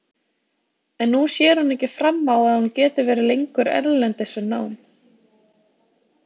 En nú sér hún ekki fram á að hún geti verið lengur erlendis við nám.